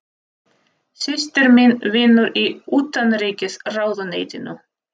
Systir mín vinnur í Utanríkisráðuneytinu.